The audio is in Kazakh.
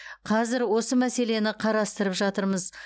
қазір осы мәселені қарастырып жатырмыз